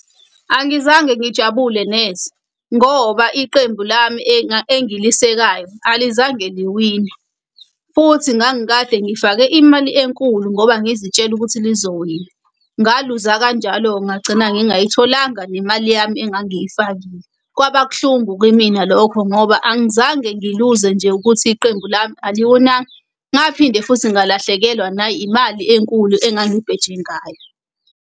Angizange ngijabule neze ngoba iqembu lami engilisekayo alizange liwine, futhi ngangikade ngifake imali enkulu ngoba ngizitshele ukuthi lizowina. Ngaluza kanjalo-ke ngagcina ngingayitholanga nemali yami engangiyifakile. Kwaba kuhlungu kimina lokho ngoba angizange ngiluze nje ukuthi iqembu lami aliwinanga, ngaphinde futhi ngalahlekelwa na imali enkulu engangibheje ngayo.